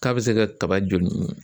K'a bɛ se ka kaba joli ɲimi.